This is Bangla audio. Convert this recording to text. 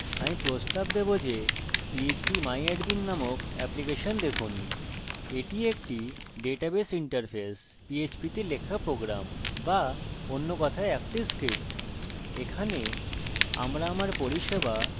আপনি এটি ওয়েবসার্ভারে কোথায় রেখেছেন যদি আপনি না জানেন তাহলে আমি প্রস্তাব দেবো যে phpmyadmin নামক এপ্লিকেশন দেখুন